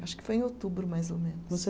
Acho que foi em outubro, mais ou menos. Você